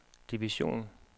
division